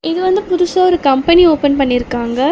இது வந்து புதுசா ஒரு கம்பனி ஓபன் பண்ணிருக்காங்க.